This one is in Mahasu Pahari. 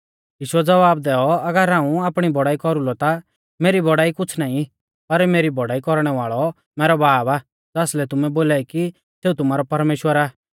यीशुऐ ज़वाब दैऔ अगर हाऊं आपणी बौड़ाई कौरुलौ ता मेरी बौड़ाई कुछ़ नाईं पर मेरी बौड़ाई कौरणै वाल़ौ मैरौ बाब आ ज़ासलै तुमै बोलाई कि सेऊ तुमारौ परमेश्‍वर आ